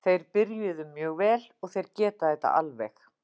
Þeir byrjuðu mjög vel og þeir geta þetta alveg.